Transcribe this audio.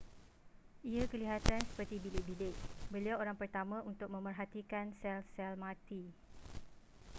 ia kelihatan seperti bilik-bilik beliau orang pertama untuk memerhatikan sel-sel mati